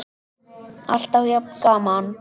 Alltaf jafn gaman!